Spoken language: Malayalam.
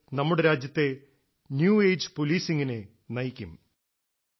അത് നമ്മുടെ രാജ്യത്തെ ന്യൂ എജിഇ പോളീസിംഗ് നെ നയിക്കും